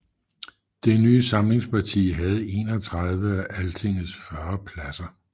Det nye samlingsparti havde 31 af Altingets 40 pladser